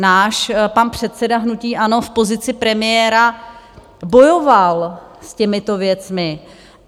Náš pan předseda hnutí ANO v pozici premiéra bojoval s těmito věcmi.